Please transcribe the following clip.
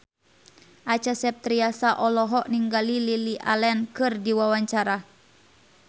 Acha Septriasa olohok ningali Lily Allen keur diwawancara